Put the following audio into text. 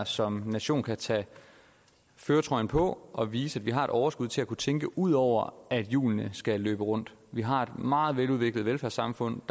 som nation kan tage førertrøjen på og vise at vi har et overskud til at kunne tænke ud over at hjulene skal løbe rundt vi har et meget veludviklet velfærdssamfund